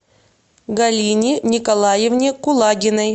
галине николаевне кулагиной